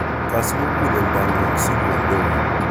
Kas muguleldo ngung si kondoun